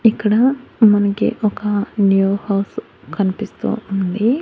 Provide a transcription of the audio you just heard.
ఇక్కడ మనకి ఒక న్యూ హౌస్ కనిపిస్తూ ఉంది.